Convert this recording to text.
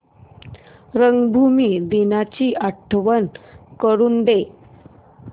रंगभूमी दिनाची आठवण करून दे